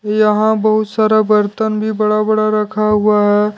यहां बहुत सारा बर्तन भी बड़ा बड़ा रखा हुआ है।